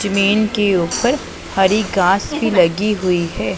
जमीन के ऊपर हरी घास भी लगी हुईं हैं।